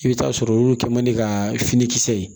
I bɛ taa sɔrɔ olu kɛ man di ka finikisɛ